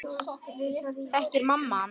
Þekkir mamma hann?